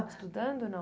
Estudando ou não?